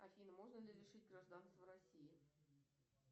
афина можно ли лишить гражданства россии